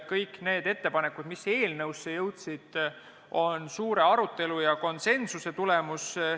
Kõik need ettepanekud, mis eelnõusse jõudsid, on suure arutelu ja konsensuse tulemus.